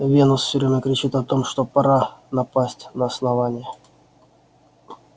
венус все время кричит о том что пора напасть на основание